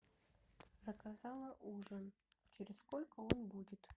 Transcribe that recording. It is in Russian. заказала ужин через сколько он будет